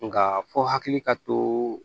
Nka fɔ hakili ka to